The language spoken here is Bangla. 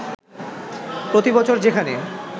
প্রতিবছর যেখানে